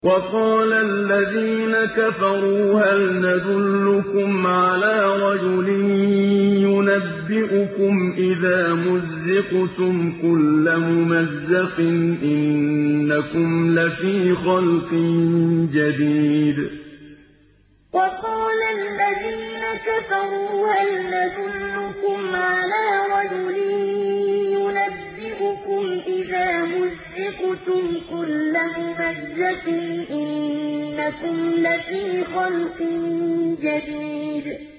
وَقَالَ الَّذِينَ كَفَرُوا هَلْ نَدُلُّكُمْ عَلَىٰ رَجُلٍ يُنَبِّئُكُمْ إِذَا مُزِّقْتُمْ كُلَّ مُمَزَّقٍ إِنَّكُمْ لَفِي خَلْقٍ جَدِيدٍ وَقَالَ الَّذِينَ كَفَرُوا هَلْ نَدُلُّكُمْ عَلَىٰ رَجُلٍ يُنَبِّئُكُمْ إِذَا مُزِّقْتُمْ كُلَّ مُمَزَّقٍ إِنَّكُمْ لَفِي خَلْقٍ جَدِيدٍ